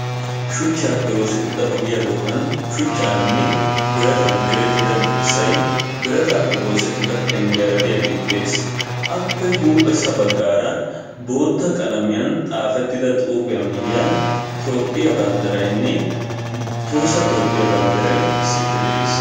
Shuchchappe oosetrida ogiyaa doonan shuchchaninne biratan direttida dirssay biratappe oosettida penggiyaara diyaage dees. Appe huuphessa baggaara bootta qalamiyan xaafetida xuufiya miyyiyan Toophiya banddiraynne Tohossa Topphiya banddiray issippe de'ees.